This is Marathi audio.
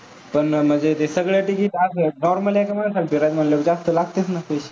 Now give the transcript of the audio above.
पण म्हणजे ते सगळं ticket असं आहेत normal आहेत, ह्याच्या मुळे फिरायला म्हंटल्यावर जास्त लागतात ना पैसे?